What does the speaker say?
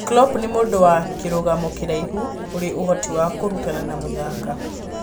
Klopp nĩ mũndũ wa kĩrũgamo kĩraihu, ũrĩ ũhoti wa kũrutana na mũthaka